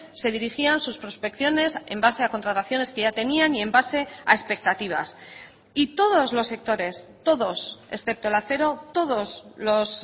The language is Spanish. se dirigían sus prospecciones en base a contrataciones que ya tenían y en base a expectativas y todos los sectores todos excepto el acero todos los